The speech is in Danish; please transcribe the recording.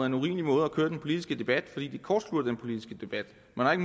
en urimelig måde at køre den politiske debat på fordi det kortslutter den politiske debat man har